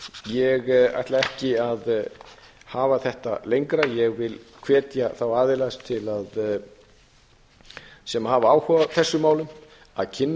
ég ætla ekki að hafa þetta lengra ég hvet þá aðila sem hafa áhuga á þessum málum til að kynna